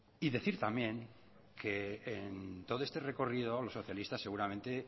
y decir también que en todo este recorrido los socialistas seguramente